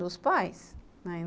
Dos pais, né?